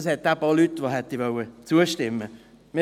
Denn es hat eben auch Leute, die zustimmen möchten.